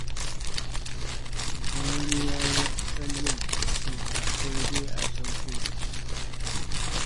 Idan wani ya yi wani tsallen, to fa sai dai a sauko da shi.